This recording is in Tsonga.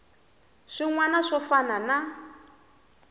swin wana swo fana na